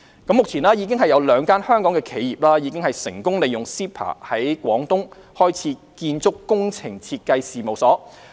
目前有兩間香港企業已成功利用 CEPA 在廣東開設建築工程設計事務所。